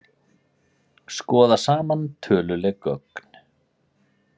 Skoða saman töluleg gögn